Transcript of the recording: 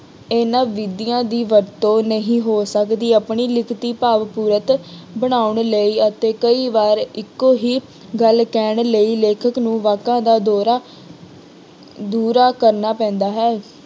ਇਹਨਾਂ ਵਿਧੀਆਂ ਦੀ ਵਰਤੋਂ ਨਹੀਂ ਹੋ ਸਕਦੀ ਆਪਣੀ ਲਿਖਤੀ ਭਾਵਪੂਰਕ ਬਣਾਉਣ ਲਈ ਅਤੇ ਕਈ ਵਾਰ ਇੱਕੋ ਹੀ ਗੱਲ ਕਹਿਣ ਲਈ ਲੇਖਕ ਨੂੰ ਵਾਕਾਂ ਦਾ ਦੌਰਾ ਦੂਹਰਾ ਕਰਨਾ ਪੈਂਦਾ ਹੈ।